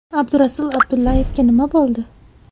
Abdurasul Abdullayevga nima bo‘ldi?